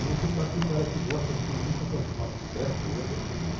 E você sabe que o cara que gosta pelo menos de se aproximar do certo, ele é perseguido.